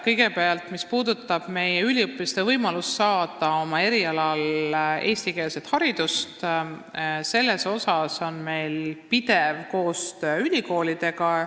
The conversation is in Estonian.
Kõigepealt, mis puudutab üliõpilaste võimalust saada oma erialal eestikeelset haridust, siis meil on pidev koostöö ülikoolidega.